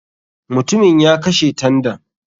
MUtumin ya kashe tandan.